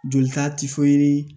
Jolita tɛ foyi